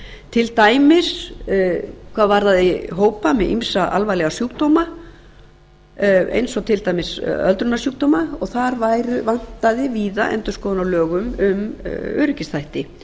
til dæmis hvað varðaði hópa með ýmsa alvarlega sjúkdóma eins og til dæmis öldrunarsjúkdóma og þar vantaði víða endurskoðun á lögum um öryggisþætti